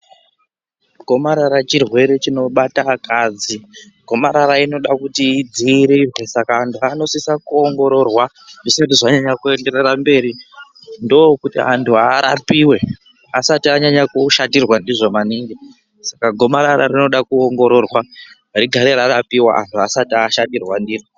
Gomarara chirwere chinobata akadzi gomarara inoda kuti idziirirqe saka antu anosisa kuongororwa zvisati zvanyanya kuenderera mberi ndokuti antu arapiwe asati anyanya kushatirwa ndizvo maningi saka gomarara rinoda kuongororwa rigare rarapiwa antu asati ashatirwa ndiro.